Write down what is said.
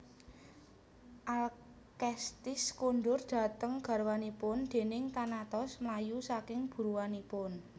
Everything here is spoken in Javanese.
Alkestis kondur dhateng garwanipun déné Thanatos mlayu saking buruanipun